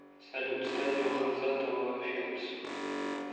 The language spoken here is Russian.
салют стадио хамзатова филмс